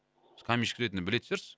каменщик ретінде білетін шығарсыз